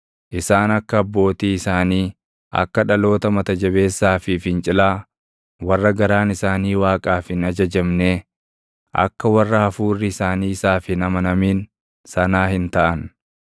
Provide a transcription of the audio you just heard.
Isaan akka abbootii isaanii, akka dhaloota mata jabeessaa fi fincilaa, warra garaan isaanii Waaqaaf hin ajajamnee, akka warra hafuurri isaanii isaaf hin amanamin sanaa hin taʼan.